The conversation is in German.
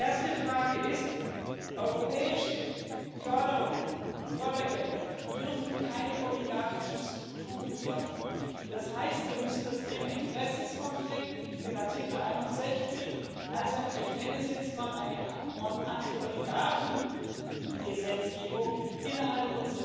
Erster Punkt ist Europäische Fördergelder dürfen keine oligarchischen Strukturen fördern, das heißt, wir müssen sowohl das Thema Interessenkonflikt, den Artikel 61, als auch eine ich nenne es jetzt mal so Antioligarchen Gesetzgebung innerhalb